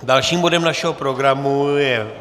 Dalším bodem našeho programu je